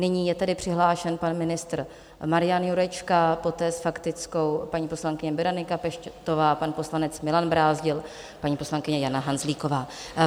Nyní je tedy přihlášen pan ministr Marian Jurečka, poté s faktickou paní poslankyně Berenika Peštová, pan poslanec Milan Brázdil, paní poslankyně Jana Hanzlíková.